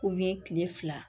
kile fila